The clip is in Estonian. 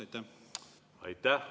Aitäh!